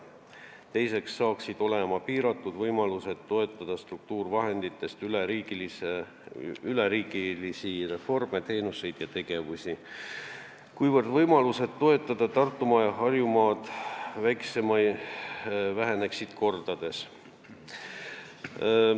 Teiseks saaksid olema piiratud võimalused toetada struktuurivahenditest üleriigilisi reforme, teenuste osutamist ja üldse tegevusi, kuna võimalused toetada Tartumaad ja Harjumaad väheneksid kordades.